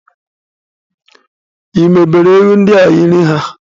Ị mebere ewu ndia nri ha?